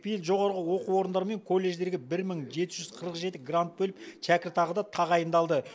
биыл жоғары оқу орындары мен колледждерге бір мың жеті жүз қырық жеті грант бөліп шәкіртақы да тағайындалды